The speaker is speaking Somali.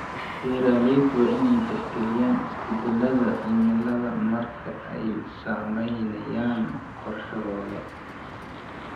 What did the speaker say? Beeraleydu waa in ay tixgeliyaan isbeddelada cimilada marka ay samaynayaan qorshahooda.